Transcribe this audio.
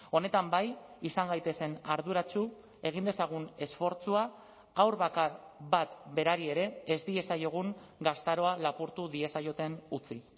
honetan bai izan gaitezen arduratsu egin dezagun esfortzua haur bakar bat berari ere ez diezaiogun gaztaroa lapurtu diezaioten utzi